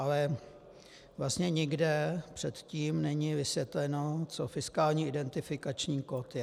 Ale vlastně nikde předtím není vysvětleno, co fiskální identifikační kód je.